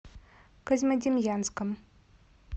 козьмодемьянском